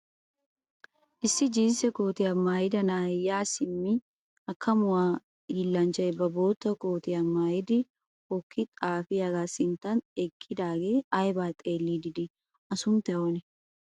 Issi jinsse kootiya maayida na'ay yaa simmi hakkamuwaa hiillanchchay ba bootta kootiya mayidi hokki xaafiyaagaa sinttan eqqidaagee ayibaa xeelliiddi dii? A sunttay oonee?